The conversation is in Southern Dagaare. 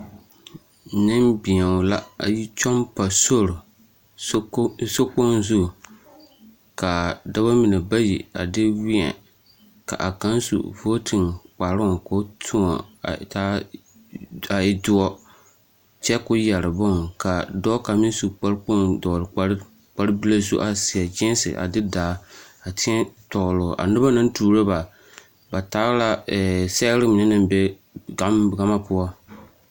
Nembēo la a yi kyɔŋ pa sori, sokpoŋ zu, ka dɔbɔ mine bayi a de wēɛ ka a kaŋ su vootiŋ kparoŋ k'o tõɔ a taa a e doɔ kyɛ k'o yɛre boŋ, ka dɔɔ kaŋ meŋ su kpare kpoŋ dɔgele kpare bile zu a seɛ gēēse, a de daa a tēɛ tɔgele o, a noba naŋ tuuro ba ba taa la sɛgere mine naŋ be gama poɔ.